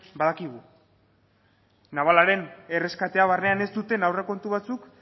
badakigu la navalaren erreskatea barnean ez duten aurrekontu batzuk